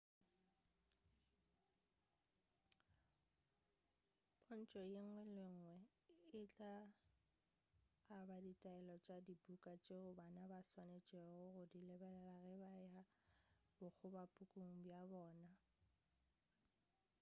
pontšho yenngwe le yenngwe e tla aba ditaelelo tša dibuka tšeo bana ba swanetšego go di lebelela ge ba e ya bokgobapuku bja bona